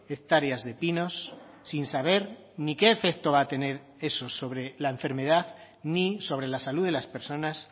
hectáreas de pinos sin saber ni qué efecto va a tener eso sobre la enfermedad ni sobre la salud de las personas